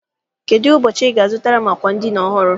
Kedụ ụbọchị I ga- azụtara m àkwà edina ọhụrụ?